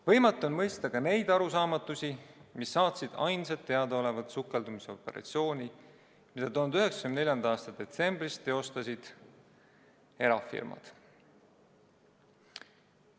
Võimatu on mõista ka neid arusaamatusi, mis saatsid ainsat teadaolevat sukeldumisoperatsiooni, mille 1994. aasta detsembris teostasid erafirmad.